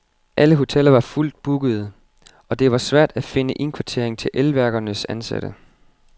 Alle hoteller var fuldt bookede, og det var svært at finde indkvartering til elværkernes ansatte.